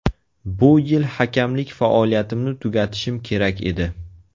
Bu yil hakamlik faoliyatimni tugatishim kerak edi.